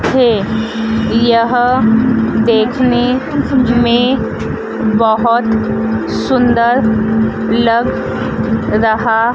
थे। यह देखने मे बहोत सुंदर लग रहा--